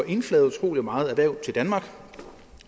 indflaget utrolig meget erhverv til danmark